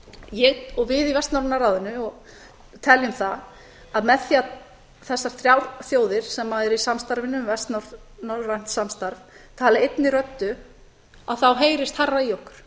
ég og við í vestnorræna ráðinu teljum það að með því að þessar þrjár þjóðir sem eru í samstarfinu um vestnorrænt samstarf tali einni röddu þá heyrist hærra í okkur